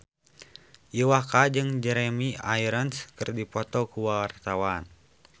Iwa K jeung Jeremy Irons keur dipoto ku wartawan